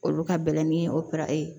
Olu ka bɛlɛn ni o para ye